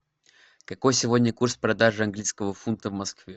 какой сегодня курс продажи английского фунта в москве